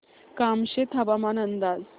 कामशेत हवामान अंदाज